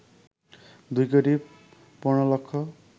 ২ কোটি ১৫ লক্ষ